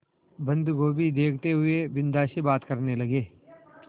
बन्दगोभी देखते हुए बिन्दा से बात करने लगे